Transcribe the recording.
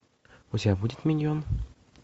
у тебя будет миньон